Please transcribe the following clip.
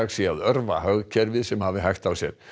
sé að örva hagkerfið sem hafi hægt á sér